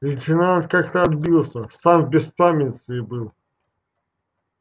лейтенант как-то отбился сам в беспамятстве был